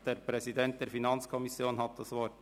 Der Präsident der FiKo hat das Wort.